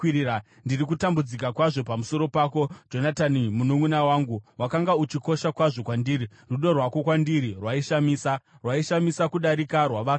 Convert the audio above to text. Ndiri kutambudzika kwazvo pamusoro pako, Jonatani mununʼuna wangu; wakanga uchikosha kwazvo kwandiri. Rudo rwako kwandiri rwaishamisa, rwaishamisa kudarika rwavakadzi.